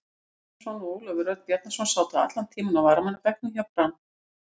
Gylfi Einarsson og Ólafur Örn Bjarnason sátu allan tímann á varamannabekknum hjá Brann.